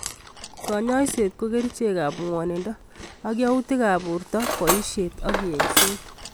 Kanyoiset ko kerichek ab ng'wonindo ak yautik ab borto boishet ak engset.